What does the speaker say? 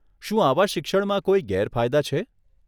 શું આવા શિક્ષણમાં કોઈ ગેરફાયદા છે?